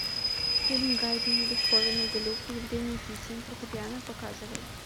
фильм гайдн бетховен глюк евгений кисин фортепиано показывай